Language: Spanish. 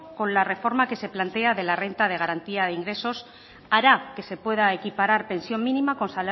con la reforma que se plantea de la renta de garantía de ingresos hará que se pueda equiparar pensión mínima con